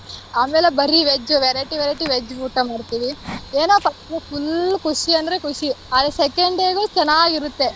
ಆಮೇಲ್ ಬರಿ veg variety variety veg ಊಟ ಮಾಡ್ತೀವಿ ಏನೋಪ್ಪ full ಖುಷಿ ಅಂದ್ರೆ ಖುಷಿ ಆದ್ರೆ second day ಗು ಚೆನ್ನಾಗಿರುತ್ತೆ.